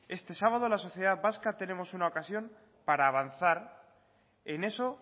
este sábado la sociedad vasca tenemos una ocasión para avanzar en eso